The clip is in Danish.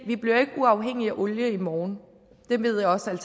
at uafhængige af olie i morgen det ved jeg også at